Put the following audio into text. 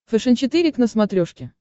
фэшен четыре к на смотрешке